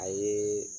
A ye